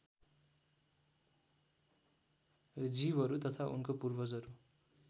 जीवहरू तथा उनको पूर्वजहरू